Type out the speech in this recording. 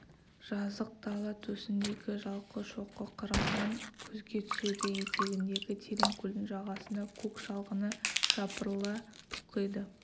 жазық дала төсіндегі жалқы шоқы қырымнан көзге түседі етегіндегі терең көлдің жағасында көк шалғыны жапырыла толқиды